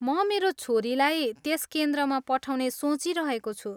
म मेरी छोरीलाई त्यस केन्द्रमा पठाउने सोचिरहेको छु।